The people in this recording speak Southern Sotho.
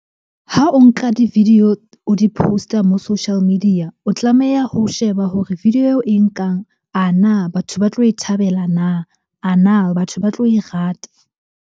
Ha o nka di-video, o di post-a mo social media. O tlameha ho sheba hore video eo e nkang, a na batho ba tlo e thabela na? A na batho ba tlo e rata?